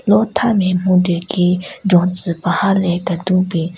Lo tha me mhyudyu ki jontsü paha le kedun bin.